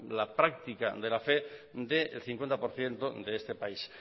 la práctica de la fe del cincuenta por ciento de este país